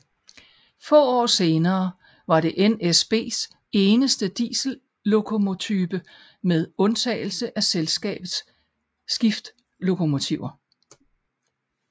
Få år senere var det NSBs eneste diesellokomotype med undtagelse af selskabets skiftlokomotiver